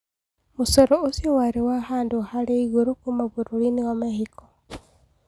Mũcoro ũcio warĩ wa handũ harĩ igũrũ kuuma bũrũrinĩ wa mehiko